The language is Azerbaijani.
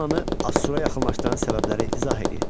Mannanı Assura yaxınlaşdıran səbəbləri izah eləyin.